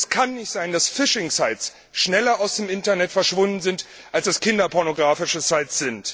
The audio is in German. Es kann nicht sein, dass Phishing Sites schneller aus dem Internet verschwunden sind als kinderpornographische Sites.